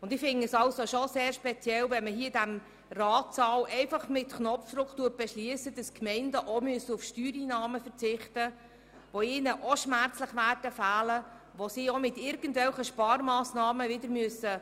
Und ich finde es schon sehr speziell, wenn man hier im Grossen Rat einfach per Knopfdruck beschliesst, dass auch die Gemeinden auf Steuereinnahmen verzichten müssen, die ihnen schmerzlich fehlen werden und die auch sie mit irgendwelchen Sparmassnahmen ausgleichen müssen.